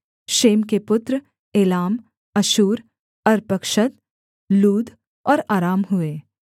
Shem के पुत्र Elam Asshur Arphaxad Lud और अराम हुए